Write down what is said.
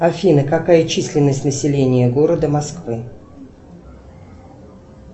афина какая численность населения города москвы